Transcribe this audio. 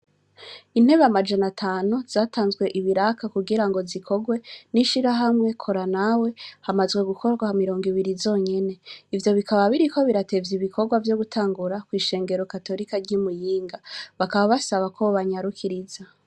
Intebe amajanatano zatanzwe ibiraka kugira ngo zikorwe n'ishira hamwe koranawe hamazwe gukorwa ha mirongo ibiri zonyene ivyo bikaba biri ko biratevye ibikorwa vyo gutangura kw'ishengero katolika ry'imuyinga bakaba basaba ko banyarukiriza.